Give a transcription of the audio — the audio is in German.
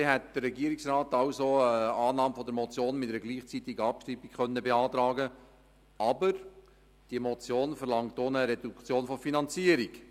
So gesehen hat der Regierungsrat also die Annahme der Motion mit einer gleichzeitigen Abschreibung beantragt, aber diese Motion verlangt auch eine Reduktion der Finanzierung.